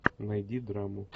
найди драму